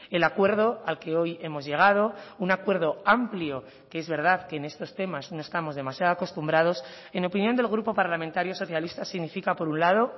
el acuerdo al que hoy hemos llegado un acuerdo amplio que es verdad que en estos temas no estamos demasiado acostumbrados en opinión del grupo parlamentario socialista significa por un lado